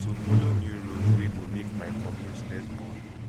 to follow new road wey go make my commute less boring